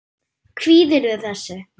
Kvíðirðu þessu?